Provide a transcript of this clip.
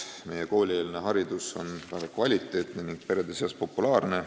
Meie koolieelne haridus on väga kvaliteetne ning perede seas populaarne.